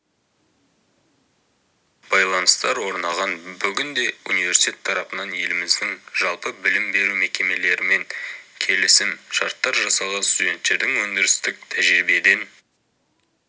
байланыстар орнаған бүгінде университет тарапынан еліміздің жалпы білім беру мекемелерімен келісім-шарттар жасалған студенттердің өндірістік тәжірибеден